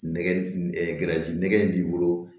Nɛgɛsi nɛgɛ in b'i bolo